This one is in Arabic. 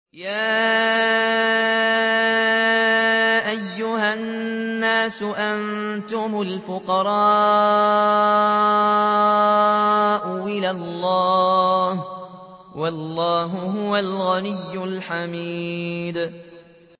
۞ يَا أَيُّهَا النَّاسُ أَنتُمُ الْفُقَرَاءُ إِلَى اللَّهِ ۖ وَاللَّهُ هُوَ الْغَنِيُّ الْحَمِيدُ